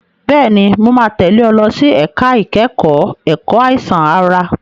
Bẹ́ẹ̀ni, mo máa tẹ̀lé ọ lọ sí ẹ̀ka ìkẹ́kọ̀ọ́ ẹ̀kọ́ àìsàn ara.